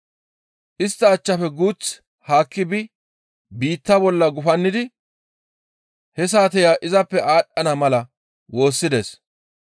Istta achchafe guuth haakki bi biitta bolla gufannidi he saateya izappe aadhdhana mala woossides.